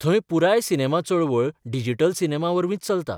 थंय पुराय सिनेमा चळवळ डिजिटल सिनेमावरवींच चलता.